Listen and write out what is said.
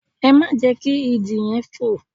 Ẹ má jẹ́ kí Idì yẹn fò!